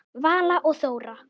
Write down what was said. Vala og Þóra.